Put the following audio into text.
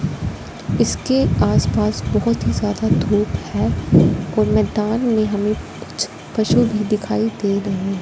इसके आसपास बहोत ही ज्यादा धूप है और मैदान में हमें कुछ पशु भी दिखाई दे रही हैं।